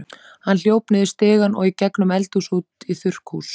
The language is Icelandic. Hann hljóp niður stigann og í gegnum eldhúsið út í þurrkhús.